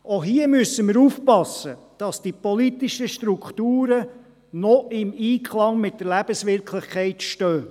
– Auch hier müssen wir aufpassen, dass die politischen Strukturen noch im Einklang mit der Lebenswirklichkeit stehen.